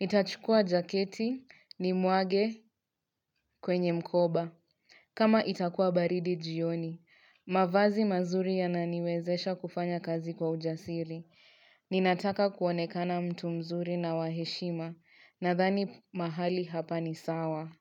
Nitachukua jaketi nimwage kwenye mkoba. Kama itakua baridi jioni. Mavazi mazuri ya naniwezesha kufanya kazi kwa ujasiri. Ninataka kuonekana mtu mzuri na wa heshima. Nadhani mahali hapa ni sawa.